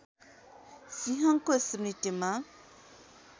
सिंहको स्मृतिमा